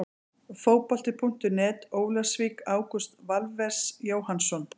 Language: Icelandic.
Fótbolti.net, Ólafsvík- Ágúst Valves Jóhannsson.